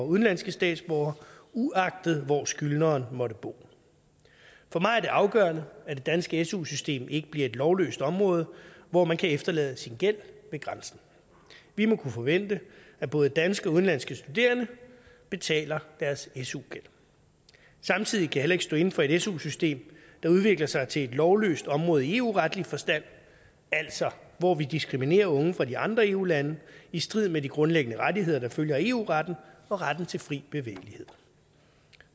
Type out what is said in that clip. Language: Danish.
udenlandske statsborgere uanset hvor skyldneren måtte bo for mig er det afgørende at det danske su system ikke bliver et lovløst område hvor man kan efterlade sin gæld ved grænsen vi må kunne forvente at både danske og udenlandske studerende betaler deres su gæld samtidig kan jeg heller ikke stå inde for et su system der udvikler sig til et lovløst område i eu retlig forstand altså hvor vi diskriminerer unge fra de andre eu lande i strid med de grundlæggende rettigheder der følger af eu retten og retten til fri bevægelighed